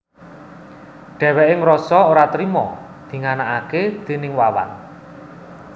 Dhèwèké ngrasa ora trima dinganakaké déning Wawan